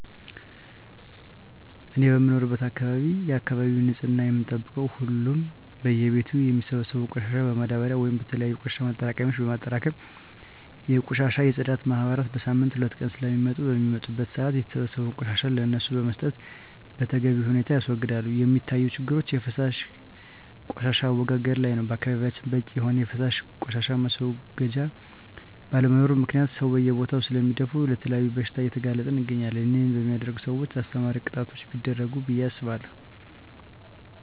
እኔ በምኖርበት አካባቢ የአካባቢውን ንፅህና የምንጠብቀው ሁሉም በየ ቤቱ የሚሰበሰበውን ቆሻሻ በማዳበርያ ወይም በተለያዩ የቆሻሻ ማጠራቀሚያ በማጠራቀም የቆሻሻ የፅዳት ማህበራት በሳምንት ሁለት ቀናት ስለሚመጡ በሚመጡበት ሰአት የተሰበሰበውን ቆሻሻ ለነሱ በመስጠት በተገቢ ሁኔታ ያስወግዳሉ። የሚታዪ ችግሮች የፈሳሽ ቆሻሻ አወጋገድ ላይ ነው በአካባቢያችን በቂ የሆነ የፈሳሽ ቆሻሻ ማስወገጃ ባለመኖሩ ምክንያት ሰው በየቦታው ስለሚደፍ ለተለያዩ በሽታዎች እየተጋለጠን እንገኛለን ይህን በሚያደርጉ ሰውች አስተማሪ ቅጣቶች ቢደረጉ ብየ አስባለሁ።